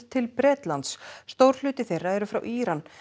til Bretlands stór hluti þeirra eru frá Íran